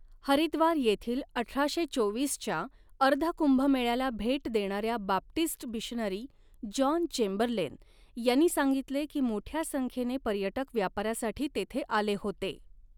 हरिद्वार येथील अठराशे चोवीसच्या अर्ध कुंभमेळ्याला भेट देणाऱ्या बाप्टिस्ट मिशनरी जॉन चेंबरलेन यांनी सांगितले की, मोठ्या संख्येने पर्यटक व्यापारासाठी तेथे आले होते.